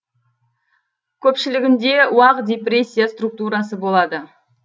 көпшілігінде уақ дисперсия структурасы болады